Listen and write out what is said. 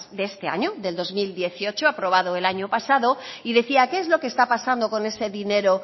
de este año del dos mil dieciocho aprobado el año pasado y decía qué es lo que está pasando con ese dinero